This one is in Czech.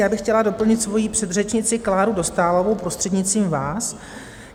Já bych chtěla doplnit svou předřečnici Kláru Dostálovou, prostřednictvím vás.